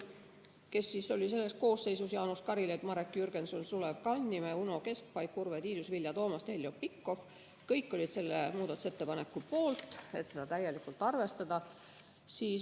Komisjon täies koosseisus oli selle poolt, et seda täielikult arvestada.